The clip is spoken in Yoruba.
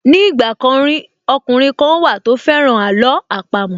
Ní ìgbà kan rí, ọkùnrin kan wà tó fẹ́ràn àló àpamọ́